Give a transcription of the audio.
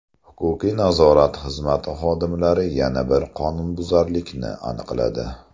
Huquqiy-nazorat xizmati xodimlari yana bir qonunbuzarlikni aniqladi.